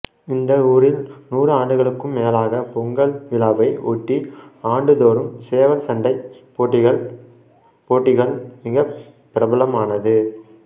இந்த ஊரில் நூறு ஆண்டுகளுக்கும் மேலாக பொங்கல் விழாவை ஒட்டி ஆண்டுதோறும் சேவல் சண்டைப் போட்டிகள் போட்டிகள் மிகப் பிலமலமானது